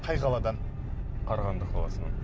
қай қаладан қарағанды қаласынан